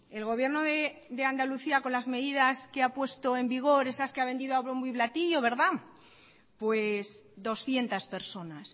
el gobierno de andalucía con las medidas que ha puesto en vigor esas que ha vendido a bombo y platillo doscientos personas